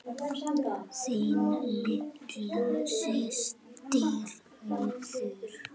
Þín litla systir, Auður.